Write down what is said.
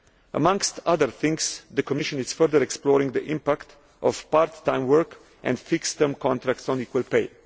Amongst other things, the Commission is further exploring the impact of part time work and fixed term contracts on equal pay.